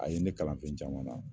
A ye ne kalan fɛn caman na.